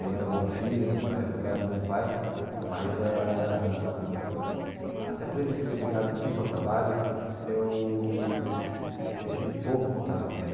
Eu era um bom filho, meu pai meu pai era um bom pai, mas eh até por ele ser ligado muito ao trabalho, eu eu tive pouco contato com ele.